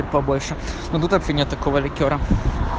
побольше ну в бутылке нет такого ликёра